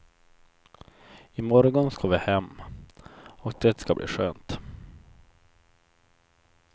I morgon ska vi hem, och det ska bli skönt.